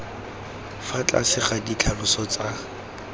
fa tlase ga ditlhaloso tsa